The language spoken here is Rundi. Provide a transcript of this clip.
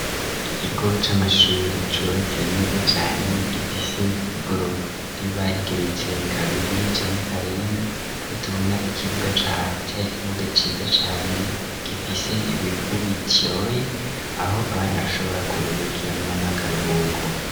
Ikigo c'amashure cubatse neza cane, gifise igorofa riba rigeretse kabiri canke karenga ko tubona ikibuga caho cari ikibuga ciza cane gifise ibivu bityoye aho abana bashobora kuruhukira mu mwanya w'akaruhuko.